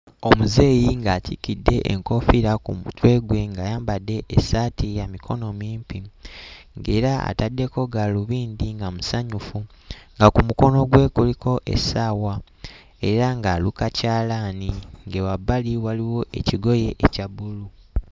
Omuzeeyi ng'atikkidde enkoofiira ku mutwe gwe ng'ayambadde essaati ya mikono mimpi ng'era ataddeko gaalubindi nga musanyufu, nga ku mukono gwe kuliko essaawa era ng'aluka kyalaani nge wabbali waliwo ekigoye ekya bbulu.